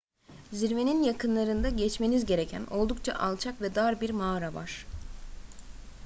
zirvenin yakınlarında geçmeniz gereken oldukça alçak ve dar bir mağara var